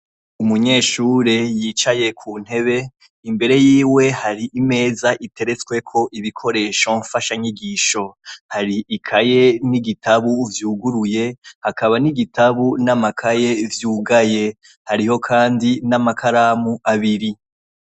Umunyeshure yicaye ku ntebe, imbere yiwe hari imeza iteretsweko ibikoresho mfasha nyigisho. Hari ikaye n'igitabu vyuguruye, hakaba n'igitabu n'amakaye vyugaye, hariyo kandi n'amakaramu abiri.